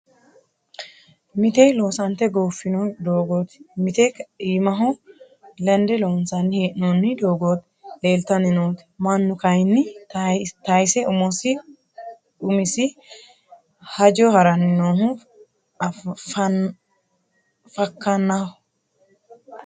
Mite loosante goofino doogoti mite iimaho lende loonsanni hee'nonni doogoti leeltanni nooti mannu kayinni tayise umisi umisi hajo harani noohu fakkanaho.